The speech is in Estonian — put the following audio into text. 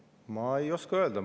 Ma ei oska öelda.